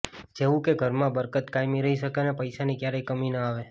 જેવુ કે ઘરમાં બરકત કાયમ રહી શકે અને પૈસાની ક્યારેય કમી ન આવે